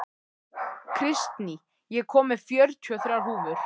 Kristný, ég kom með fjörutíu og þrjár húfur!